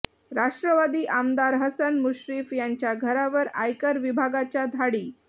राष्ट्रवादी आमदार हसन मुश्रीफ यांच्या घरावर आयकर विभागाच्या धाडी